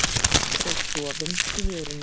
Og dofinn í vörunum.